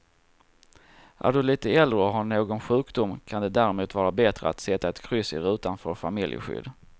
Är du lite äldre och har någon sjukdom kan det därmot vara bättre att sätta ett kryss i rutan för familjeskydd.